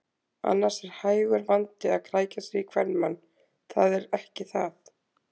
Annars er hægur vandi að krækja sér í kvenmann, það er ekki það.